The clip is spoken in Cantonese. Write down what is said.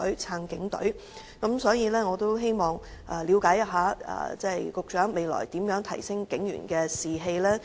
因此，我希望了解一下，局長未來如何提升警員士氣？